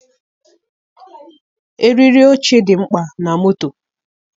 Eriri oche dị mkpa na moto.